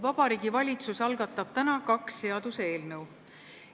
Vabariigi Valitsus algatab täna kaks seaduseelnõu.